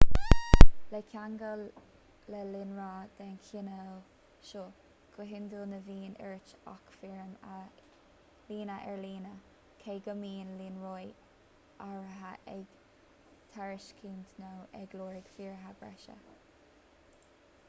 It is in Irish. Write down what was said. le ceangal le líonra den chineál seo go hiondúil ní bhíonn ort ach foirm a líonadh ar líne cé go mbíonn líonraí áirithe ag tairiscint nó ag lorg fíoraithe breise